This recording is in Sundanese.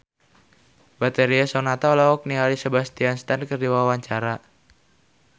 Betharia Sonata olohok ningali Sebastian Stan keur diwawancara